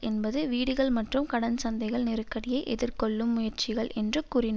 என்பது வீடுகள் மற்றும் கடன் சந்தைகள் நெருக்கடியை எதிர்கொள்ளும் முயற்சிகள் என்று கூறின